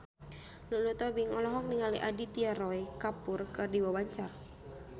Lulu Tobing olohok ningali Aditya Roy Kapoor keur diwawancara